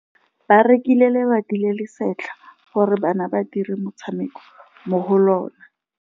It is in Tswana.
Ba rekile lebati le le setlha gore bana ba dire motshameko mo go lona.